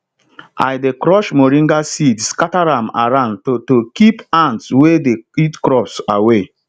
i dey crush moringa seeds scatter am around to to keep ants wey dey eat crop away